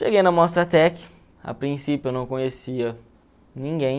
Cheguei na Mostratec, a princípio eu não conhecia ninguém.